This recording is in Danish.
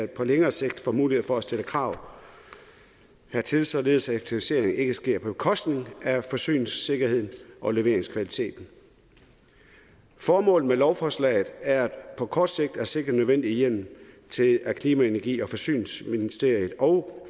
på længere sigt får mulighed for at stille krav hertil således at effektivisering ikke sker på bekostning af forsyningssikkerheden og leveringskvaliteten formålet med lovforslaget er på kort sigt at sikre den nødvendige hjemmel til at klima energi og forsyningsministeriet og